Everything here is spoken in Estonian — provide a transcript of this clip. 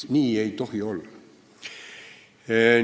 Nii ei tohi olla!